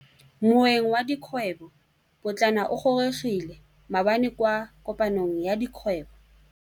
Moêng wa dikgwêbô pôtlana o gorogile maabane kwa kopanong ya dikgwêbô.